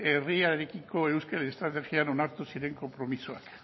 ijitoen herriarekiko euskal estrategian onartu ziren konpromisoak